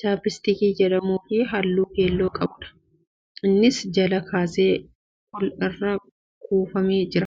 chaappistiikii jedhamuu fi halluu keelloo qabudha. Isaanis jalaa kaasee ol walirra kuufamee jira.